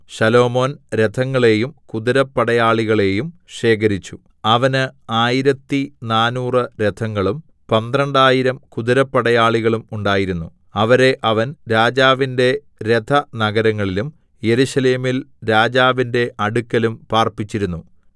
ശലോമോൻ രഥങ്ങളെയും കുതിരപ്പടയാളികളേയും ശേഖരിച്ചു അവന് ആയിരത്തിനാനൂറ് രഥങ്ങളും പന്ത്രണ്ടായിരം കുതിരപ്പടയാളികളും ഉണ്ടായിരുന്നു അവരെ അവൻ രാജാവിന്റെ രഥനഗരങ്ങളിലും യെരൂശലേമിൽ രാജാവിന്റെ അടുക്കലും പാർപ്പിച്ചിരുന്നു